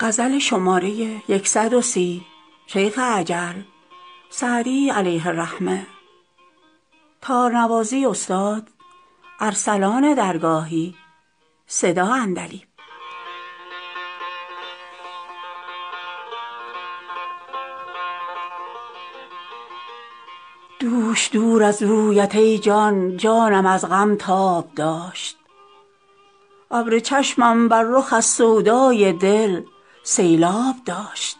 دوش دور از رویت ای جان جانم از غم تاب داشت ابر چشمم بر رخ از سودای دل سیلآب داشت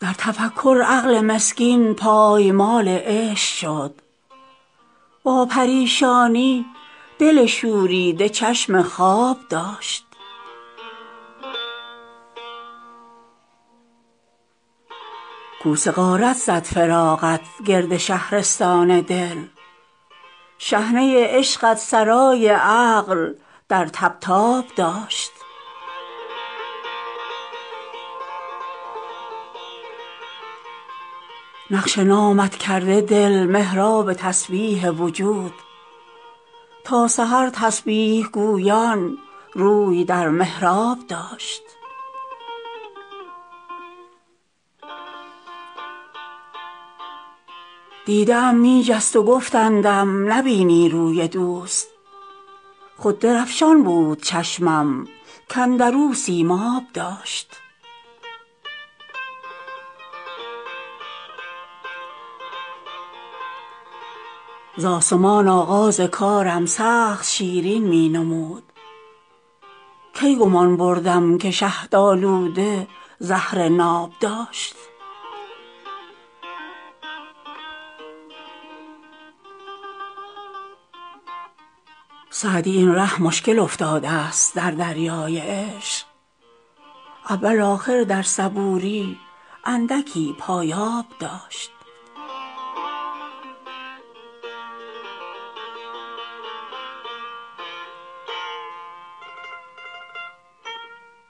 در تفکر عقل مسکین پایمال عشق شد با پریشانی دل شوریده چشم خواب داشت کوس غارت زد فراقت گرد شهرستان دل شحنه عشقت سرای عقل در طبطاب داشت نقش نامت کرده دل محراب تسبیح وجود تا سحر تسبیح گویان روی در محراب داشت دیده ام می جست و گفتندم نبینی روی دوست خود درفشان بود چشمم کاندر او سیماب داشت ز آسمان آغاز کارم سخت شیرین می نمود کی گمان بردم که شهدآلوده زهر ناب داشت سعدی این ره مشکل افتادست در دریای عشق اول آخر در صبوری اندکی پایاب داشت